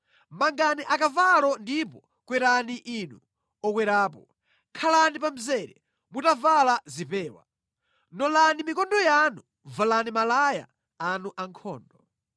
Mangani akavalo, ndipo kwerani inu okwerapo! Khalani pa mzere mutavala zipewa! Nolani mikondo yanu, valani malaya anu ankhondo!